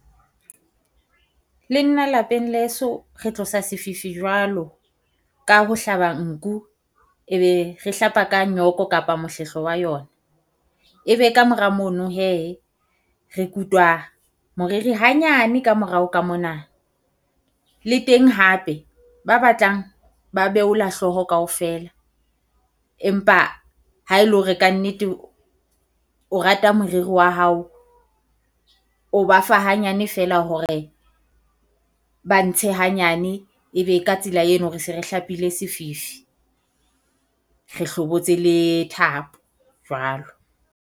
Le nna lapeng leso re tlosa sefifi jwalo ka ho hlaba nku, e be re hlapa ka nyoko kapa mohlehlo wa yona. E be kamora mono hee re kutwa moriri hanyane kamorao ka mona le teng hape, ba batlang ba behola hlooho kaofela. Empa ha e le hore kannete o rata moriri wa hao, o ba fa hanyane feela hore ba ntshe hanyane. E be ka tsela eno re se re hlapile sefifi, re hlobotse le thapo jwalo.